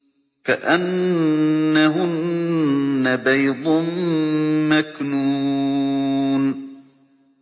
كَأَنَّهُنَّ بَيْضٌ مَّكْنُونٌ